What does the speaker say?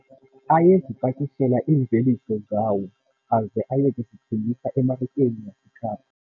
Ayezipakishela iimveliso zawo aze aye kuzithengisa emarikeni yaseKapa.